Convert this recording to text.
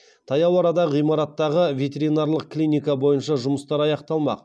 таяу арада ғимараттағы ветеринарлық клиника бойынша жұмыстар аяқталмақ